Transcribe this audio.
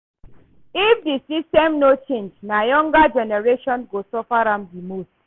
If di system no change, na younger generation go suffer am di most.